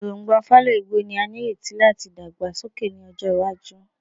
Erongba fallow igbo ni a nireti lati dagbasoke ni ọjọ iwaju